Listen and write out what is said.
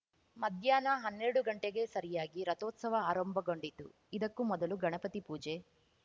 ಮಧ್ಯಾಹ್ನ ಹನ್ನೆರಡು ಗಂಟೆಗೆ ಸರಿಯಾಗಿ ರಥೋತ್ಸವ ಆರಂಭಗೊಂಡಿತು ಇದಕ್ಕೂ ಮೊದಲು ಗಣಪತಿ ಪೂಜೆ